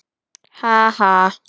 Ha, ha.